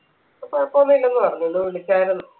ഇപ്പൊ കുഴപ്പൊന്ന് ഇല്ലെന്ന് പറഞ്ഞു ഇന്ന് വിളിച്ചായിരുന്നു